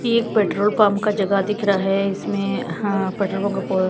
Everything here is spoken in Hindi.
ये एक पेट्रोल पंप का जगह दिख रहा है इसमें हा --